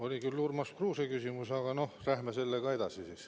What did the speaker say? Oli küll Urmas Kruuse küsimus, aga noh, läheme sellega edasi.